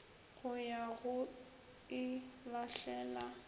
go ya go e lahlela